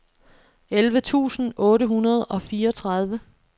elleve tusind otte hundrede og fireogtredive